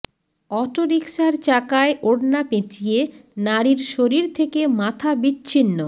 অটোরিকশার চাকায় ওড়না পেঁচিয়ে নারীর শরীর থেকে মাথা বিচ্ছিন্ন